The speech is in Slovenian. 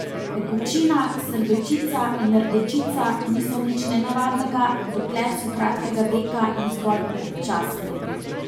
Pekočina, srbečica in rdečica niso nič nenavadnega, dokler so kratkega veka in zgolj občasne.